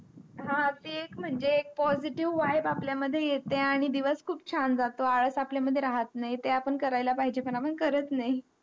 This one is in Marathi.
हा ते एक माझे positivevibe आपल्या मध्ये येते आंही दिवस खूप छान झ्हातो आला आपल्या मध्ये राहत नाही ते आपण कार्य ला पाहिजे पण ते आपण करत नाही